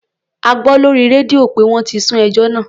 A gbọ́ lórí rédíò pé wọ́n ti sún ẹjọ́ náà.